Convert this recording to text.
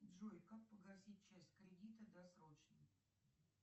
джой как погасить часть кредита досрочно